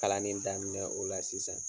Kalan ni daminɛ o la sisan.